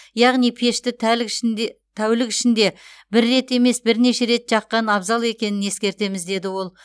яғни пешті тәулік ішінде бір рет емес бірнеше рет жаққан абзал екенін ескертеміз деді ол